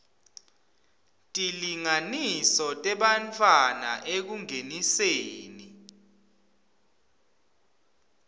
tilinganiso tebantfwana ekungeniseni